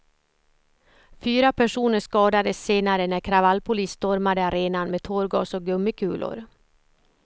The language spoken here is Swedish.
Fyra personer skadades senare när kravallpolis stormade arenan med tårgas och gummikulor.